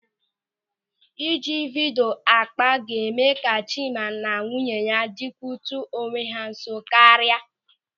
Ị ji vidio akpa ga-eme ka Chima na nwunye ya dịkute onwe ha nso karịa.